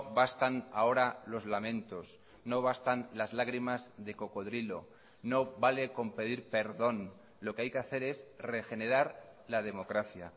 bastan ahora los lamentos no bastan las lagrimas de cocodrilo no vale con pedir perdón lo que hay que hacer es regenerar la democracia